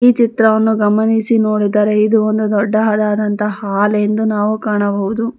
ಈ ಚಿತ್ರವನ್ನು ಗಮನಿಸಿ ನೋಡಿದರೆ ಇದು ಒಂದು ದೊಡ್ಡದಾದಂತಹ ಹಾಲ್ ಎಂದು ನಾವು ಕಾಣಬಹುದು.